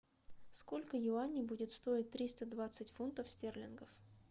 сколько юаней будет стоить триста двадцать фунтов стерлингов